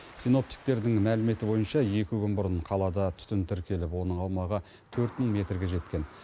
синоптиктердің мәліметі бойынша екі күн бұрын қалада түтін тіркеліп оның аумағы төрт мың метрге жеткен